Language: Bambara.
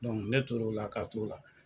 ne tor'o la ka t'o la.